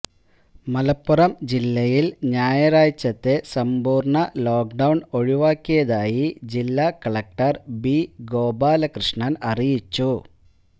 മലപ്പുറം ജില്ലയില് ഞായറാഴ്ചത്തെ സമ്പൂര്ണ്ണ ലോക്ഡൌണ് ഒഴിവാക്കിയതായി ജില്ലാ കളക്ടര് ബി ഗോപാല കൃഷ്ണന് അറിയിച്ചു